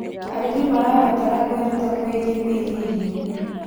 Arĩmĩ marabatara kwĩrũta kwĩgĩe kũĩga ĩrĩo